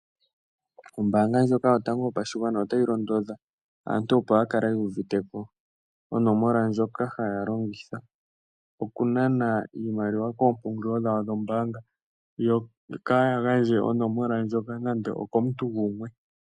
Ombanga ndjoka yotango yopashigwana otayi londodha aantu opo ya kale yu uviteko onomola ndjoka haya longitha oku nana iimaliwa koompungulilo dhawo dhombanga. Yo kaaya gandje onomola ndjoka nande okomuntu gumwe.